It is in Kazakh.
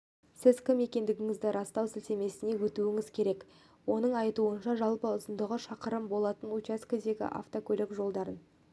сіз кім екендігіңізді растау сілтемесіне өтуіңіз керек оның айтуынша жалпы ұзындығы шақырым болатын учаскедегі автокөлік жолдарын